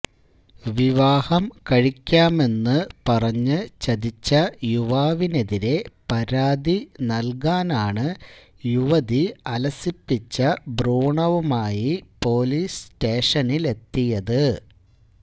വിവാഹം കഴിക്കാമെന്ന് പറഞ്ഞ് ചതിച്ച യുവാവിനെതിരെ പരാതി നൽകാനാണ് യുവതി അലസിപ്പിച്ച ഭ്രൂണവുമായി പൊലീസ് സ്റ്റേഷനിലെത്തിയത്